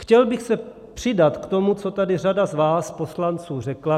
Chtěl bych se přidat k tomu, co tady řada z vás poslanců řekla.